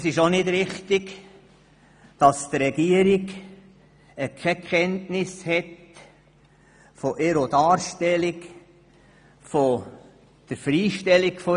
In der Postulatsantwort ist auch falsch dargestellt, dass die Regierung keine Kenntnis von ihrer Darstellung und ihrer Freistellung habe.